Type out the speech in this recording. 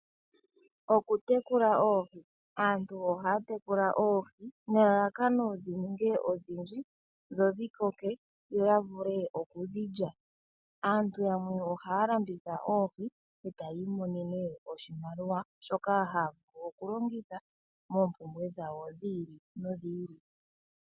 Okutekula oohi, aantu ohaya tekula oohi nelalakano dhi ninge odhindji dho dhi koke yo ya vule okudhi lya. Aantu yamwee ohaya landitha oohi etaya imonene oshimaliwa shoka haya vulu oku longitha moompuumbwe dhawo dhi ili nodhi ili.